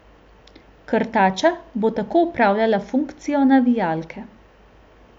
Krtača bo tako opravila funkcijo navijalke.